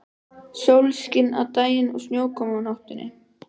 Sólskin á daginn og snjókoma á nóttunni.